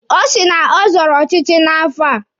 Ọ sị na ọ zọrọ ọchịchị n'afọ a.